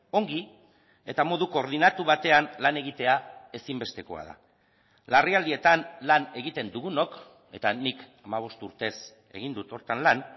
ongi eta modu koordinatu batean lan egitea ezinbestekoa da larrialdietan lan egiten dugunok eta nik hamabost urtez egin dut horretan lan